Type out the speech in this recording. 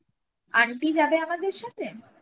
aunty যাবে আমাদের সাথে